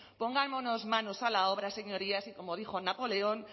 pongámonos manos a la obra señorías y como dijo napoleón